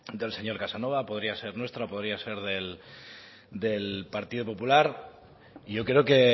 del señor casanova podría ser nuestra podría ser del partido popular y yo creo que